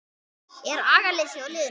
Er agaleysi hjá liðinu?